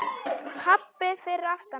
Pabbi fyrir aftan hana: